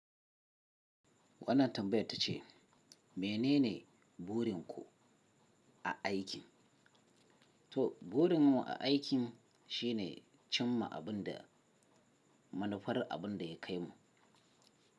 Wannan tambayar ta ce mene ne burin ku a aikin? To burin mu a aikin shi ne cimma abin da manufar abin da ya kai mu.